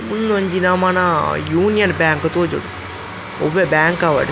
ಉಂದೊಂಜಿ ನಮನ Union Bank ತೋಜೊಡು ಒವ್ವೆ ಬ್ಯಾಂಕ್ ಆವಡ್--